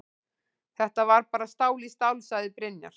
Þetta var bara stál í stál, sagði Brynjar.